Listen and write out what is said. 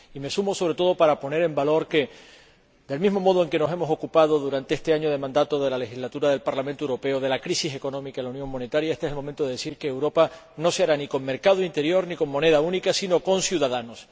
Y me sumo, sobre todo, para poner en valor que, del mismo modo en que nos hemos ocupado durante este año de mandato de la legislatura del Parlamento Europeo de la crisis económica en la Unión Monetaria, este es el momento de decir que Europa no se hará ni con mercado interior ni con moneda única, sino con ciudadanos.